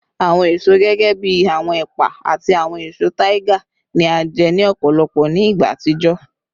Awọn eso gẹgẹbi awọn epa ati awọn eso tiger ni a jẹ ni ọpọlọpọ ni igba atijọ